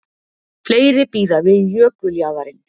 Fleiri bíða við jökuljaðarinn